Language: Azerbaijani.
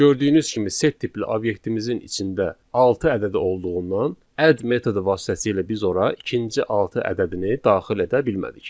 Gördüyünüz kimi set tipli obyektimizin içində altı ədədi olduğundan add metodu vasitəsilə biz ora ikinci altı ədədini daxil edə bilmədik.